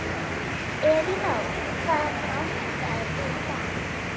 Elínór, hvaða mánaðardagur er í dag?